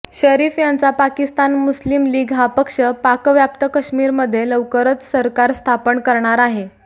शरीफ यांचा पाकिस्तान मुस्लिम लीग हा पक्ष पाकव्याप्त काश्मीरमध्ये लवकरच सरकार स्थापन करणार आहे